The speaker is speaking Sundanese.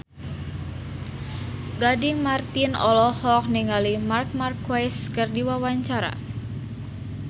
Gading Marten olohok ningali Marc Marquez keur diwawancara